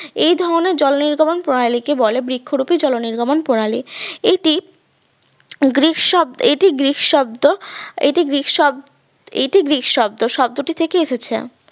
এই ধরনের জলনির্গমন প্রণালী কে বলা হয় বৃক্ষরুপি জলনির্গমন প্রণালী এটি গ্রীক শব এটি গ্রিক শব্দ এটি গ্রীক শব এটি গ্রিক শব্দ থেকে এসেছে